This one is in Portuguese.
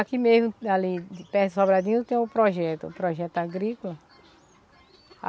Aqui mesmo, ali, perto de Sobradinho tem o projeto, o projeto agrícola.